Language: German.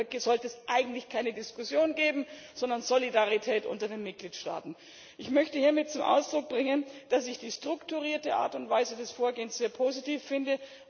Darüber sollte es eigentlich keine Diskussion geben, sondern Solidarität unter den Mitgliedstaaten. Ich möchte hiermit zum Ausdruck bringen, dass ich die strukturierte Art und Weise des Vorgehens sehr positiv finde.